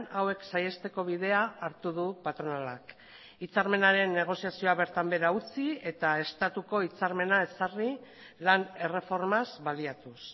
hauek saihesteko bidea hartu du patronalak hitzarmenaren negoziazioa bertan behera utzi eta estatuko hitzarmena ezarri lan erreformaz baliatuz